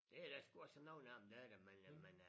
Det da sgu også nogen af dem der er det men øh men øh